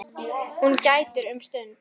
Hún grætur um stund.